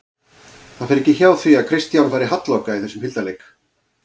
Það fer ekki hjá því að Kristján fari halloka í þessum hildarleik